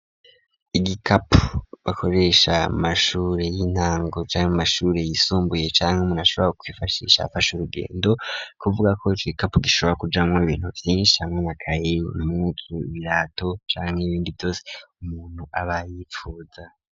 Igikapu bakoresha mu mashure y'intango canke mu mashuri yisumbuye canke umuntu ashobora kwifashisha afashe urugendo kuvugako ico gikapu gishobora kujamwo ibintu vyishi harimwo amakaye, ibirato canke ibindi vyose umuntu aba yifuza.